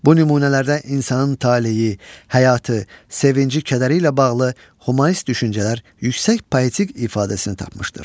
Bu nümunələrdə insanın taleyi, həyatı, sevinci-kədəri ilə bağlı humanist düşüncələr yüksək poetik ifadəsini tapmışdır.